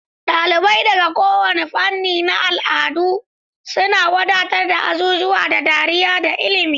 Dalibai daga kowane fanni da al'adu suna wadatar da azuzuwan da dariya da ilimi.